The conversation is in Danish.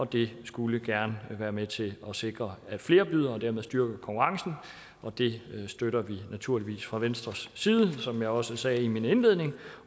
det skulle gerne være med til at sikre at flere byder og dermed styrker konkurrencen og det støtter vi naturligvis fra venstres side som jeg også sagde i min indledning